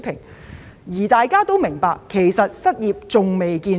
其實，大家都明白失業問題仍未見頂。